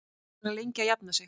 Verður hann lengi að jafna sig?